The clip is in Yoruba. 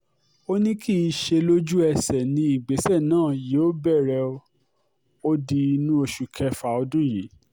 ó ní kì í ṣe lójú-ẹsẹ̀ ni ìgbésẹ̀ náà yóò bẹ̀rẹ̀ ó di inú oṣù kẹfà ọdún yìí